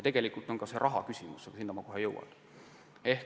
Tegelikult on see ka raha küsimus, aga selleni ma kohe jõuan.